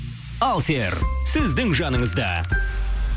алсер сіздің жаныңызда